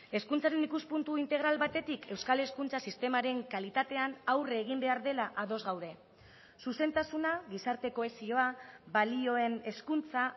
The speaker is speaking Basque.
hezkuntzaren ikuspuntu integral batetik euskal hezkuntza sistemaren kalitatean aurre egin behar dela ados gaude zuzentasuna gizarte kohesioa balioen hezkuntza